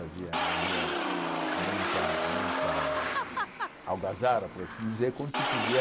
Havia havia muita muita algazara, por assim dizer, quando se podia...